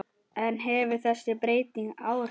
En hefur þessi breyting áhrif?